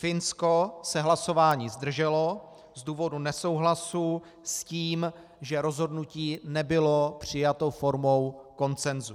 Finsko se hlasování zdrželo z důvodu nesouhlasu s tím, že rozhodnutí nebylo přijato formou konsenzu.